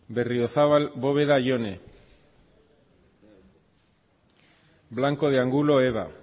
berriozabal bóveda jone blanco de angulo eva